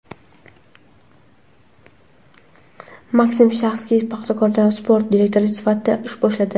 Maksim Shatskix "Paxtakor"da sport direktori sifatida ish boshladi.